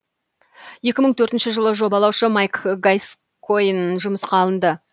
екі мың төртінші жылы жобалаушы майк гаскойн жұмысқа алынды